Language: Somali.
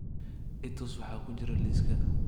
i tus waxa ku jira liiska